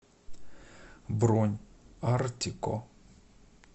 бронь артико